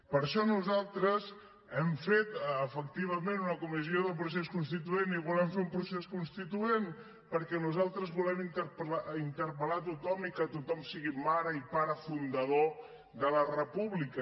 per això nosaltres hem fet efectivament una comissió del procés constituent i volem fer un procés constituent perquè nosaltres volem interpel·lar tothom i que tothom sigui mare i pare fundador de la república